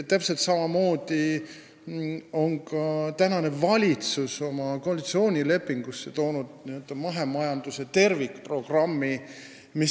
Täpselt samamoodi on praegune valitsus oma koalitsioonilepingusse toonud mahemajanduse tervikprogrammi.